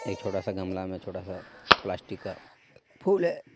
एक छोटासा गमला मे छोटासा प्लास्टिक का फूल हे.